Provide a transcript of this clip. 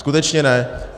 Skutečně ne.